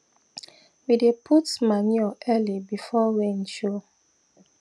we dey put manure early before rain show